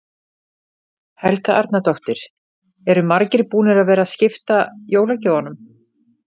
Helga Arnardóttir: Eru margir búnir að vera að skipta jólagjöfunum?